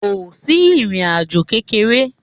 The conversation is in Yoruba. Ko si irín ajò kekere.